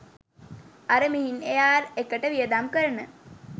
අර මිහින් එයාර් එකට වියදම් කරන